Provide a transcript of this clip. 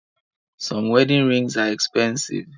Some wedding rings are expensive